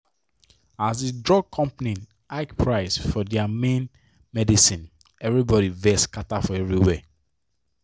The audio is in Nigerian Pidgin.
as the drug company hike price for thier main medicineeverybody vex scatter for everywhere.